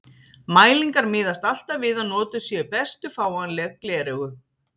Mælingar miðast alltaf við að notuð séu bestu fáanleg gleraugu.